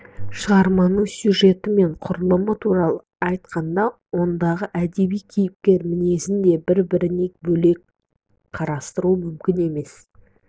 шығарманың сюжеті мен құрылымы туралы айтқанда ондағы әдеби кейіпкер мінезін де бір-бірінен бөлек қарастыру мүмкін емес